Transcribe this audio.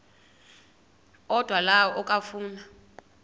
odwa la okafuna